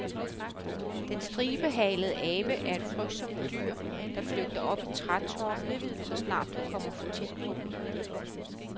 Den stribehalede abe er et frygtsomt dyr, der flygter op i trætoppene, så snart du kommer for tæt på.